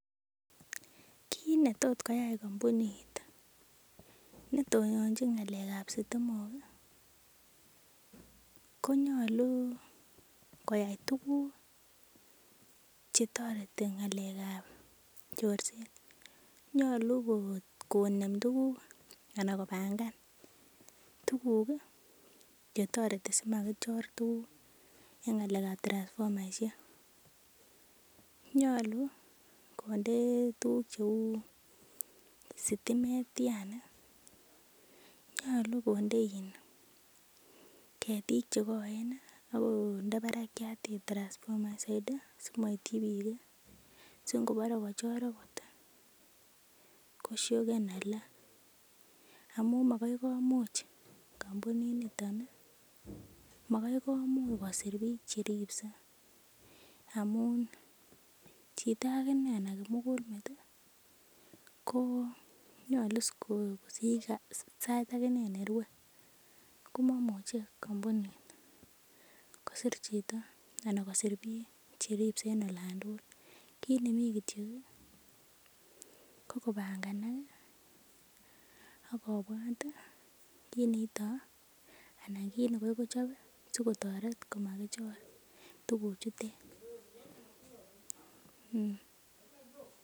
Kit netot koyai kampunit netononjin ng'alek ab stimok ih konyolu koyai tuguk chetoreti ng'alek ab chorset. Nyolu konem tuguk anan kobangan tuguk ih chetoreti simakichor tuguk en ng'alek ab transfomaisiek, nyolu konde tuguk cheu stimet yani nyolu konde ketik chekoen ih akonde barakiat transfomait soiti si moityi biik ih si ngobore kochor okot ih koshoken alak amun makai komuch kampunit niton ih makai komuch kosir biik cheripse amun chito akinee ne kimugulmet ih ko nyolu is kosich sait nerue komomuche kampunit kosir chito ana kosir biik cheripse en olan tugul. Kit nemii kityok ih ko kobanganak ih akobwat ih kit neito ana kit netot kochob ih sikotoret komakichor tuguk chutet